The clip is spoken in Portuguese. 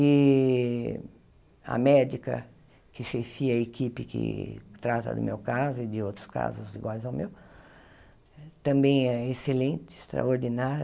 E a médica que chefia a equipe que trata do meu caso e de outros casos iguais ao meu também é excelente, extraordinária.